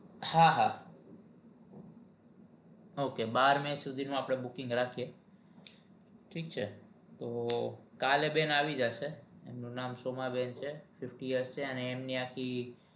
હાહા ok બાર May સુધી નુ આપડે booking રાખીએ ઠીક છે તો કાલે બેન આવી જશે એમનુ નામ સોમાબેન છે ફિફ્ટી યર્સ છે એમની આખી